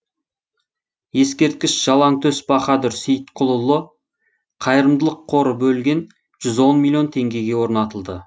ескерткіш жалаңтөс баһадүр сейітқұлұлы қайырымдылық қоры бөлген жүз он миллион теңгеге орнатылды